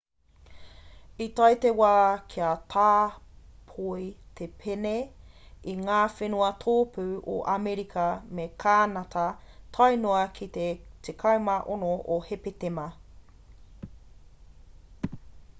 i tae te wā kia tāpoi te pēne i ngā whenua tōpū o amerika me kānata tae noa ki te 16 o hepetema